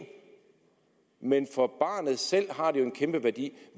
men for barnet selv har den jo en kæmpe værdi